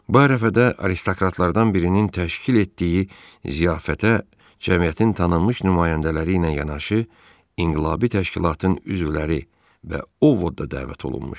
Bu ərəfədə aristokratlardan birinin təşkil etdiyi ziyafətə cəmiyyətin tanınmış nümayəndələri ilə yanaşı inqilabi təşkilatın üzvləri və Ovod da dəvət olunmuşdu.